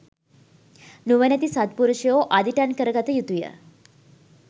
නුවණැති සත්පුරුෂයෝ අදිටන් කර ගත යුතුය.